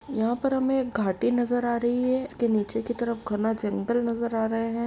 यहाँ पर हमें एक घाटी नज़र आ रही है इसके नीचे की तरफ घना जंगल नज़र आ रहें हैं।